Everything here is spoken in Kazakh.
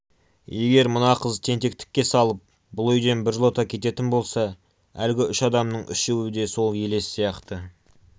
егер мына қыз тентектікке салып бұл үйден біржолата кететін болса әлгі үш адамның үшеуі де сол елес сияқты